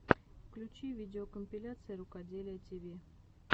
включи видеокомпиляции рукоделия тиви